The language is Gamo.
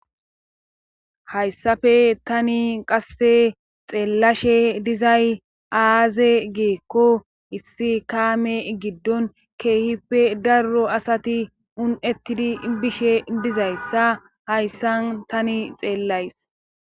Hayssafe tani qasse xeellashe dizay aaze geekko issi kaame giddon keehippe darro asati un7ettidi bishe dizayssa hayssan tani xeellays.